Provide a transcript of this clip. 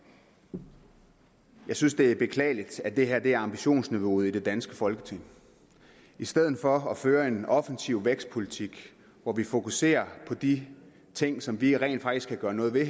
jeg synes det er beklageligt at det her er ambitionsniveauet i det danske folketing i stedet for at føre en offensiv vækstpolitik hvor vi fokuserer på de ting som vi rent faktisk kan gøre noget ved